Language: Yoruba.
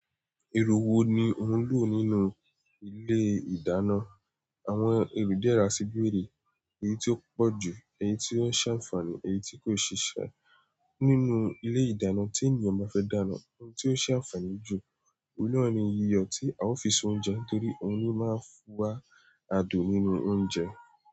Èrò wo ni ó ń lò nínú ilé ìdáná? Àwọn èrò díẹ̀ rà sí bèrè, èyí tí ó pọ̀ jù, èyí tí ó ń ṣe àǹfààní, èyí tí kò ṣiṣe. Nínú ilé ìdáná tí ènìyàn bá fẹ́ dáná, ohun tí ó ṣe àǹfààní jù, oun naani iyọ̀ tí ao fi sí oúnjẹ torí òun ni ó máa ń fún wa adùn nínú oúnjẹ.